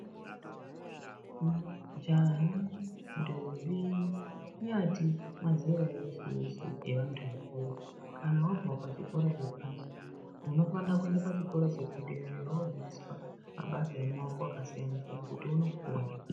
Majaha, ntombi kunyati mazera eshe eshe evantu vakuru kana wabva pachikora chepashi unofana kuenda pachikora chedera dera wodzidziswa mabasa emaoko kutu uone kupona.